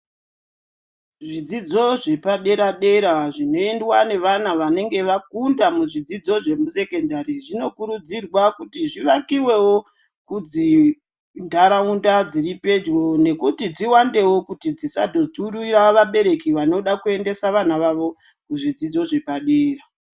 Zvidzidzo zvepadera dera zvinoendwa neana vanenge vakunda muzvidzidzo zve sekendari zvinokurudzirwa kuti zviakiwewo kudzintaraunda dziripedyo nekuti dziwandewo kuti dzisazo dhurire vabereki vanoda kuendesa vana vavo muzvidzidzo zvepadera.